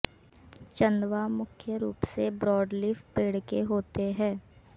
चंदवा मुख्य रूप से ब्रॉडलीफ पेड़ के होते हैं